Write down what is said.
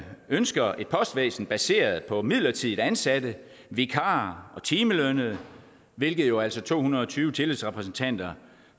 ønsker et postvæsen baseret på midlertidigt ansatte vikarer og timelønnede hvilket jo altså to hundrede og tyve tillidsrepræsentanter